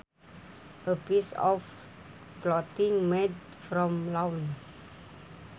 A piece of clothing made from lawn